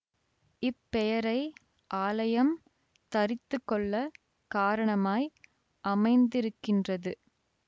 இப்பெயரை ஆலயம் தரித்துக்கொள்ளக் காரணமாய் அமைந்திருக்கின்றது